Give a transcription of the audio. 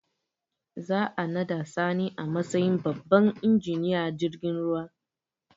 Za a naɗa sani a matsayin babban injiniyan jirgin ruwa